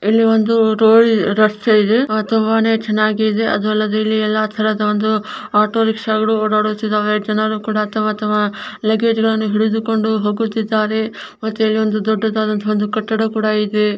ಇಲ್ಲಿ ಒಂದು ರೋಡ್ ರಸ್ತೆಯ್ ಇದೆ ತುಬಾ ನೇ ಚನ್ನಾಗ್ ಇದೆ ಅದು ಅಲ್ಲದೆ ಇಲ್ಲಿ ಎಲ್ಲಾ ತರದ ಒಂದು ಆಟೋ ರಿಕ್ಷಾಗಳು ಓಡಾಡ್ತಿದೆ ಜನರು ಕೂಡ ತಮ್ಮ ತಮ್ಮ ಲಗೇಜ್ ಗಳನು ಹಿಡ್ಕೊಂಡು ಹೋಗ್ತಾ ಇದಾರೆ ಮತ್ತೆ ಅಲ್ಲಿ ಒಂದು ದೊಡ್ಡದ ಕಟ್ಟಡ ಕೂಡ ಇದೆ.